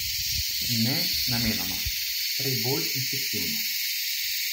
Ne namenoma, prej bolj instinktivno.